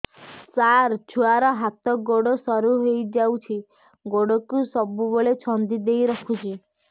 ସାର ଛୁଆର ହାତ ଗୋଡ ସରୁ ହେଇ ଯାଉଛି ଗୋଡ କୁ ସବୁବେଳେ ଛନ୍ଦିଦେଇ ରଖୁଛି